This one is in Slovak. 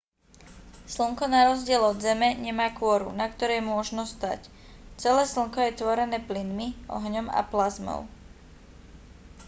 slnko na rozdiel od zeme nemá kôru na ktorej môžno stáť celé slnko je tvorené plynmi ohňom a plazmou